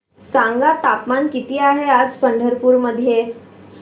सांगा तापमान किती आहे आज पंढरपूर मध्ये